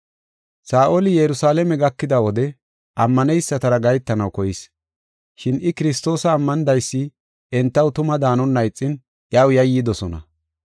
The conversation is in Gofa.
Saa7oli Yerusalaame gakida wode ammaneysatara gahetanaw koyis. Shin I Kiristoosa ammanidaysi entaw tuma daanonna ixin iyaw yayyidosona.